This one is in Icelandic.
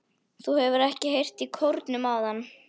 Þú hefur ekki heyrt í kórnum áðan?